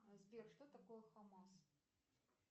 сбер что такое хамаз